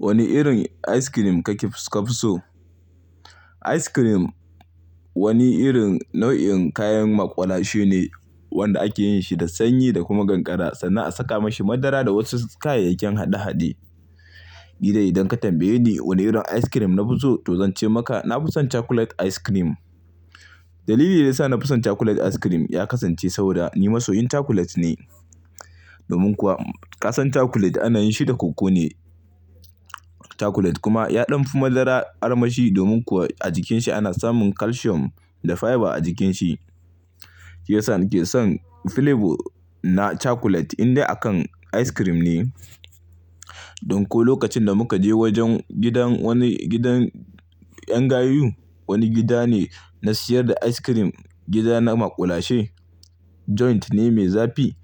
Wani irin ice cream kake ka fi so? Ice cream wani irin nau'in kayan maƙulashe ne wanda ake yin shi da sanyi da kuma kankara sannan a saka mashi madara da wasu kayayyakin haɗe-haɗe. Nidan idan ka tambaye ni wane irin ice cream na fi so, to zan ce maka na fi son chocolate ice cream. Dalili da ya sa na fi son chocolate ice cream ya kasance saboda ni masoyin chocolate ne. Domin kuwa ƙasan chocolate ana yin shi da koko ne. Chocolate kuma ya ɗanfi madara armashi domin kuwa a jikin shi ana samun calcium da fiber a jikin shi. Shi ya sa nake son flavor na chocolate inda aka ice cream ne. Ɗanko lokacin da muka je wajen gidan wani gidan ƴan gayu, wani gida ne na siyar da ice cream, gida na maƙulashe, joint ne mai zafi.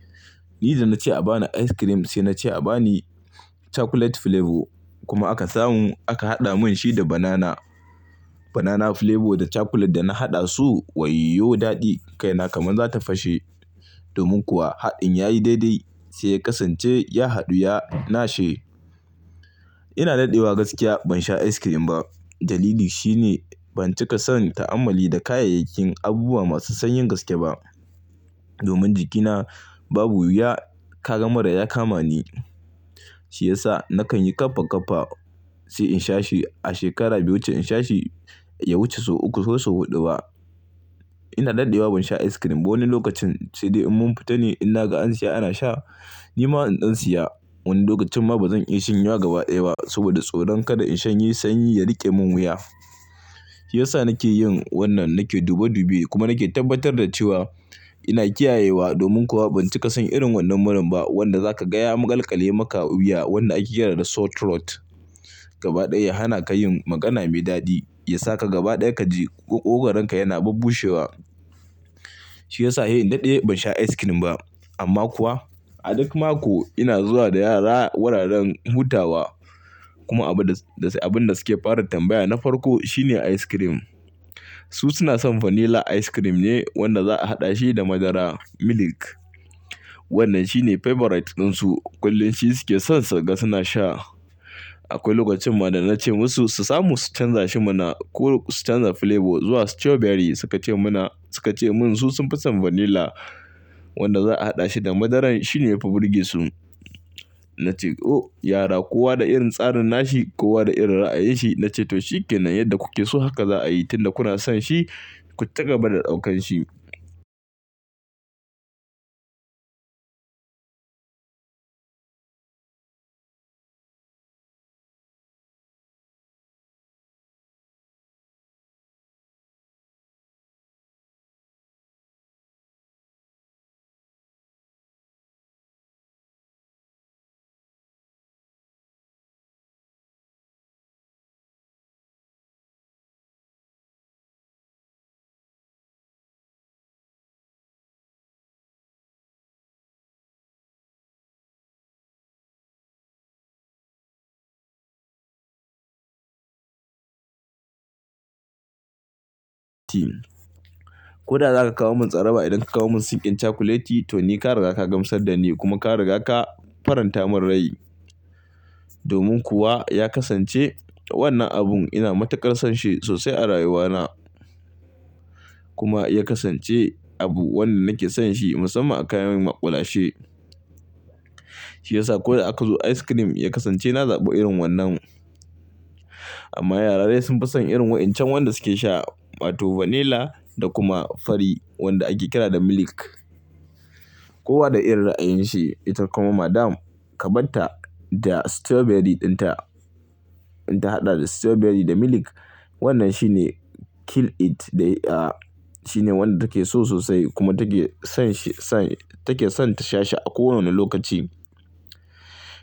Ni da na ce a ba ni ice cream sai na ce a ba ni chocolate flavor kuma aka samu, aka haɗa mun shi da banana. Banana flavor da chocolate da na haɗa su wayyo daɗi, kai na kaman za ta fashe. Domin kuwa haɗin ya yi daidai sai ya kasance ya haɗu, ya nashe. Ina daɗewa gaskiya ban sha ice cream ba. Dalili shi ne ban cika son ta'amalli da kayayyakin abubuwa masu sanyin gaske ba. Domin jikina babu wuya, kaga mura ya kama ni. Shi ya sa nakan yi ƙafa ƙafa sai in sha shi a shekara biyu, ce in sha shi ya wuce sau uku ko sau huɗu ba. Ina daɗewa ban sha ice cream ba. Wani lokacin sai dai in mun fita ne in na ga an siya ana sha, ni ma in ɗan siya. Wani lokacin ma ba zan iya shanyawa gaba ɗaya ba saboda tsoron kada in shanye sanyi ya riƙe mun wuya. Shi ya sa nake yin wannan, nake dube dube kuma nake tabbatar da cewa ina kiyayewa. Domin kuwa ban cika son irin wannan muran ba wanda zaka gaya a maƙalƙale maka wuya wanda ake kira da sore throat. Gaba ɗaya ya hana ka yin magana mai daɗi, ya sa ka gaba ɗaya ka ji moƙogoranka yana babbushewa. Shi ya sa yayin daɗe ban sha ice cream ba. Amma kuwa a duk mako ina zuwa da yara wuraren hutawa kuma abin da suke fara tambaya na farko shine ice cream. Su suna son vanilla ice cream ne wanda za'a haɗa shi da madara, milk. Wannan shine favorite ɗinsu. Kullum shi suke son suga suna sha. Akwai lokacin ma da na ce musu su samu su canza shi mana ko su canza flavor zuwa strawberry suka ce mun su sun fi son vanilla wanda za a haɗa shi da madaran. Shi ne mafirginsu. Na ce "O yara kowa da irin tsarin nashi, kowa da irin ra'ayinshi." Na ce "to shikenan yadda kuke so haka za a yi, tun da kuna son shi ku ci gaba da ɗaukan shi." Ko da za ka kawo mun tsara ba idan ka kawo mun sinkin cakuleti to ni ka riga ka gamsar da ni kuma ka riga ka faranta mun rai. Domin kuwa ya kasance wannan abun ina matuƙar son shi sosai a rayuwana. Kuma ya kasance abu wanda nake son shi musamman a kayan maƙulashe. Shi ya sa ko da aka zo ice cream ya kasance na zaɓi irin wannan. Amma yara dai sun fi son irin waɗancan wanda suke sha, mato vanilla da kuma fari wanda ake kira da milk. Kowa da irin ra'ayinshi. Ita kuma madam ka banta da strawberry ɗinta. In ta haɗa da strawberry da milk wannan shine kill it ɗaya. Shine wanda take so sosai kuma take son shi, take son ta sha shi a kowane lokaci.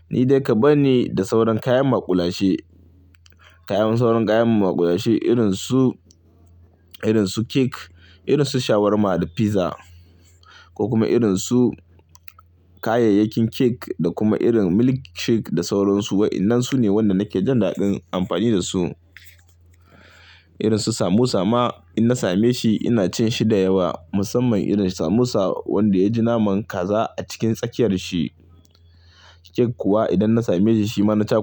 Ni dai ka bani da sauran kayan maƙulashe, sauran kayan maƙulashe irin su cake, irin su shawarma da fiza ko kuma irin su kayayyakin cake da kuma irin milk shake da sauran su. Waɗannan su ne waɗanda nake jan daɗin amfani da su. Irin su samosa ma idan na same shi ina cin shi da yawa musamman irin samosa wanda ya ji naman kaza a cikin tsakiyar shi. Cake kuwa idan na same shi mana cake.